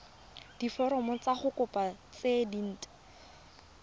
diforomo tsa kopo tse dint